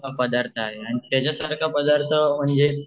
हा पदार्थ हाये आणि त्याच्यासारखा आणि त्याच्यासारखा पदार्थ म्हणजे